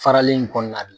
Farali in kɔnɔna la